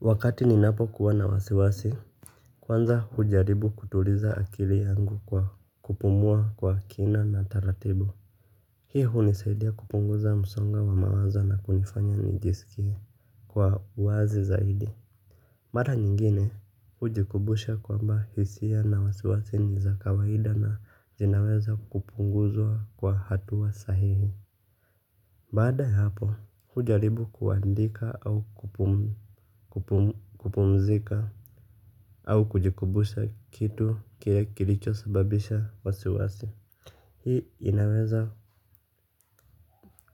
Wakati ninapo kuwa na wasiwasi. Kwanza hujaribu kutuliza akili yangu kwa kupumua kwa kina na taratibu. Hii hunisaidia kupunguza msongo wa mawazo na kunifanya nijisikie kwa uwazi zaidi. Mara nyingine hujikumbusha kwamba hisia na wasiwasi ni za kawaida na zinaweza kupunguzwa kwa hatua sahihi. Bada ya hapo hujaribu kuandika au kupumzika au kujikumbusha kitu kile kilicho sababisha wasiwasi. Hii inaweza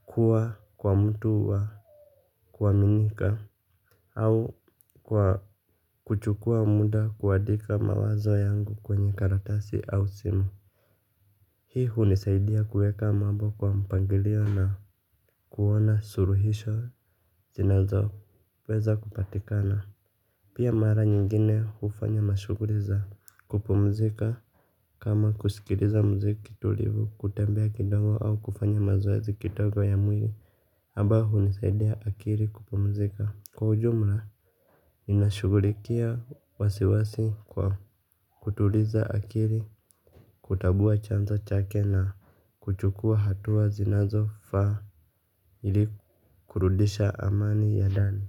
kuwa kwa mtu wa kuaminika au kwa kuchukua muda kuandika mawazo yangu kwenye karatasi au simu. Hii hunisaidia kueka mambo kwa mpangilio na kuona suluhisho zinazoweza kupatikana. Pia mara nyingine hufanya mashuguli za kupumzika kama kusikiliza mziki tulivu kutembea kidogo au kufanya mazoezi kidogo ya mwili ambayo hunisaidia akili kupumzika. Kwa ujumla inashugulikia wasiwasi kwa kutuliza akili. Kutambua chanzo chake na kuchukua hatua zinazo faa ili kurudisha amani ya ndani.